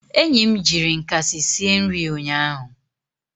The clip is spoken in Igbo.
enyi m jiri nkasi sie nri ụnyaahụ